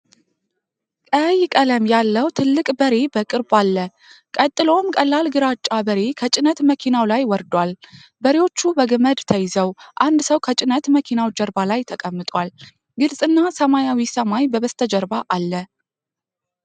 ቀይ ቀለም ያለው ትልቅ በሬ በቅርብ አለ፤ ቀጥሎም ቀላል ግራጫ በሬ ከጭነት መኪናው ላይ ወርዷል። በሬዎቹ በገመድ ተይዘው፣ አንድ ሰው ከጭነት መኪናው ጀርባ ላይ ተቀምጧል። ግልጽና ሰማያዊ ሰማይ በበስተጀርባ አለ።